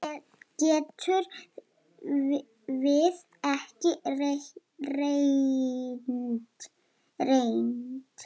Getum við ekki reynt?